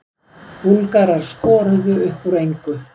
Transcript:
Búlgarar skoruðu upp úr engu